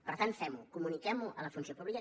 per tant fem ho comuniquem ho a la funció pública